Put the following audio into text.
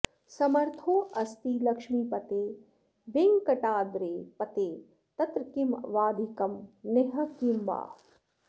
समर्थोऽस्ति लक्ष्मीपते वेङ्कटाद्रेः पते तत्र किम् वाधिकं नेह किं वा